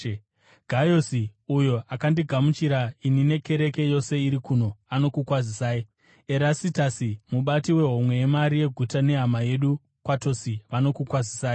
Gayasi, uyo akandigamuchira ini nekereke yose iri kuno, anokukwazisai. Erastasi mubati wehomwe yemari yeguta nehama yedu Kwatosi vanokukwazisai.